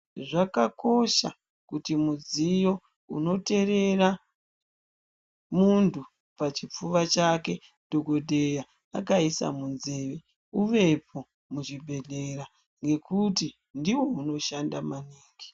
Zvakakosha kuti mudziyo unoterera muntu Pachipfuwa chake dhokodheya akaisa munzeve uvepo muzvibhedhlera ngekuti ndiwo unoshanda maningi.